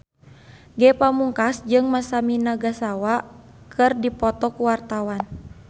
Ge Pamungkas jeung Masami Nagasawa keur dipoto ku wartawan